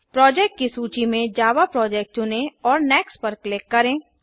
project की सूची में जावा प्रोजेक्ट चुनें और नेक्स्ट पर क्लिक करें